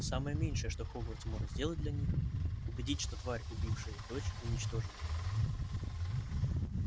самое меньшее что хогвартс может сделать для них убедить что тварь убившая их дочь уничтожена